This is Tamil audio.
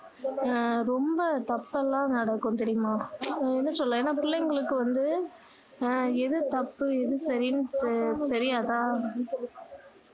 அஹ் ரொம்ப தப்பு எல்லாம் நடக்கும் தெரியுமா என்ன சொல்ல ஏன்னா பிள்ளைங்களுக்கு வந்து அஹ் எது தப்பு எது சரியின்னு தெரி~தெரியாதா